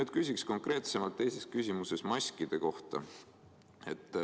Ma küsin oma teises küsimuses konkreetsemalt maskide kohta.